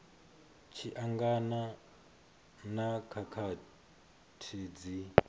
tshi angana na khakhathi dzi